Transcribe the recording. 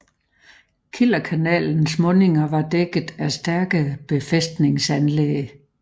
Kielerkanalens mundinger var dækket af stærke befæstningsanlæg